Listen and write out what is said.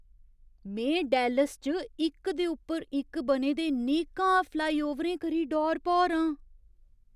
में डाल्लास च इक दे उप्पर इक बने दे नेकां फ्लाईओवरें करी डौर भौर आं।